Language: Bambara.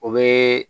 O bɛ